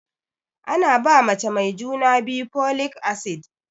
Ana ba mace mai juna biyu folic acid